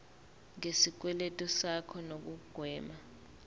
ngesikweletu sakho nokugwema